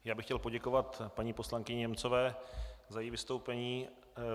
Já bych chtěl poděkovat paní poslankyni Němcové za její vystoupení.